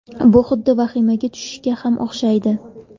Bu xuddi vahimaga tushishga ham o‘xshaydi.